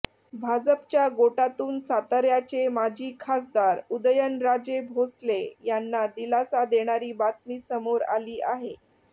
भाजपच्या गोटातून साताऱ्याचे माजी खासदार उदयनराजे भोसले यांना दिलासा देणारी बातमी समोर आली आहे